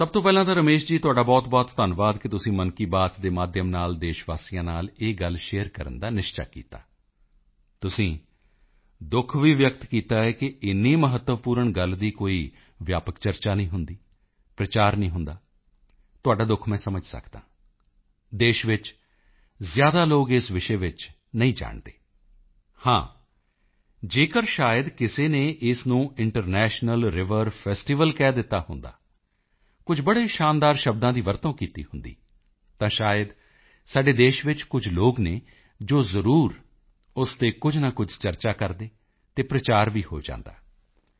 ਸਭ ਤੋਂ ਪਹਿਲਾਂ ਤਾਂ ਰਮੇਸ਼ ਜੀ ਤੁਹਾਡਾ ਬਹੁਤਬਹੁਤ ਧੰਨਵਾਦ ਕਿ ਤੁਸੀਂ ਮਨ ਕੀ ਬਾਤ ਦੇ ਮਾਧਿਅਮ ਨਾਲ ਦੇਸ਼ਵਾਸੀਆਂ ਨਾਲ ਇਹ ਗੱਲ ਸ਼ੇਅਰ ਕਰਨ ਦਾ ਨਿਸ਼ਚਾ ਕੀਤਾ ਤੁਸੀਂ ਦੁੱਖ ਵੀ ਵਿਅਕਤ ਕੀਤਾ ਹੈ ਕਿ ਇੰਨੀ ਮਹੱਤਵਪੂਰਨ ਗੱਲ ਦੀ ਕੋਈ ਵਿਆਪਕ ਚਰਚਾ ਨਹੀਂ ਹੁੰਦੀ ਪ੍ਰਚਾਰ ਨਹੀਂ ਹੁੰਦਾ ਤੁਹਾਡਾ ਦੁੱਖ ਮੈਂ ਸਮਝ ਸਕਦਾ ਹਾਂ ਦੇਸ਼ ਵਿੱਚ ਜ਼ਿਆਦਾ ਲੋਕ ਇਸ ਵਿਸ਼ੇ ਵਿੱਚ ਨਹੀਂ ਜਾਣਦੇ ਹਨ ਹਾਂ ਜੇਕਰ ਸ਼ਾਇਦ ਕਿਸੇ ਨੇ ਇਸ ਨੂੰ ਇੰਟਰਨੈਸ਼ਨਲ ਰਿਵਰ ਫੈਸਟੀਵਲ ਕਹਿ ਦਿੱਤਾ ਹੁੰਦਾ ਕੁਝ ਬੜੇ ਸ਼ਾਨਦਾਰ ਸ਼ਬਦਾਂ ਦੀ ਵਰਤੋਂ ਕੀਤੀ ਹੁੰਦੀ ਤਾਂ ਸ਼ਾਇਦ ਸਾਡੇ ਦੇਸ਼ ਵਿੱਚ ਕੁਝ ਲੋਕ ਹਨ ਜੋ ਜ਼ਰੂਰ ਉਸ ਤੇ ਕੁਝ ਨਾ ਕੁਝ ਚਰਚਾ ਕਰਦੇ ਅਤੇ ਪ੍ਰਚਾਰ ਵੀ ਹੋ ਜਾਂਦਾ